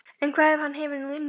En hvað ef hann hefur nú unnið?